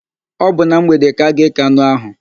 Ọ bụ na mgbede ka a ga-ékè anụ áhụ̀.